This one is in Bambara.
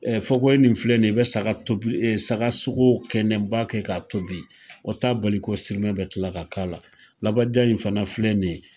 Fokohoye nin filɛ nin ye i bɛ saga tobi saga sogo kɛnɛ n b'a kɛ k'a tobi, o t'a bali ko sirimɛ bɛ tila ka k'a la, labaja in fana filɛ nin ye